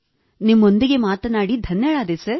ನಿಮ್ಮೊಂದಿಗೆ ಮಾತನಾಡಿ ಧನ್ಯಳಾದೆ ಸರ್